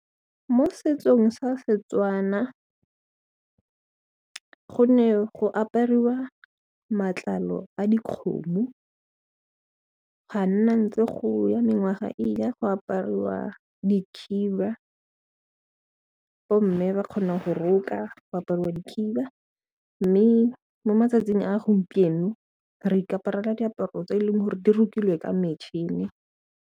Mo setsong sa Setswana go ne go apariwa matlalo a dikgomo, ga nna ntse go ya mengwaga e ya gwa apariwa dikhiba bomme ba kgona go roka gwa apariwa dikhiba mme mo matsatsing a gompieno re ikaparela diaparo tse e leng gore di rukilwe ka metšhini.